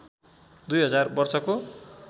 दुई हजार वर्षको